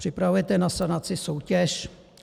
Připravujete na sanaci soutěž?